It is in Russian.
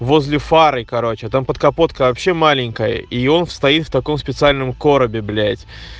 возле фары короче там подкапотка вообще маленькая и он стоит в таком специальном коробе блять